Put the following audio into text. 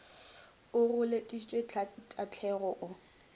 o go lešitše tahlane o